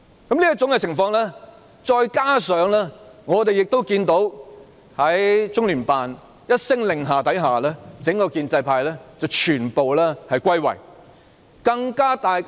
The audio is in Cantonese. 在這次事件中，我們看到在中聯辦一聲令下，整個建制派便全部歸位。